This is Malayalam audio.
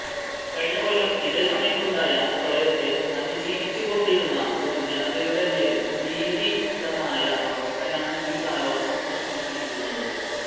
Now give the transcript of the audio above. കഴിഞ്ഞകൊല്ലം ഇതേ സമയത്തുണ്ടായ പ്രളയത്തെ അതിജീവിച്ചുകൊണ്ടിരുന്ന ഒരു ജനതയുടെമേൽ ഭീതിദമായ അവസ്ഥയാണ് ഈ കാലവർഷം സൃഷ്ടിച്ചിരിക്കുന്നത്